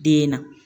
Den na